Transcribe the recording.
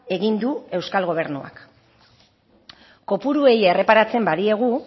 egin du euskal gobernuak kopuruei erreparatzen badiegu